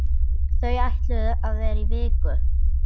Þau ætluðu að vera í viku.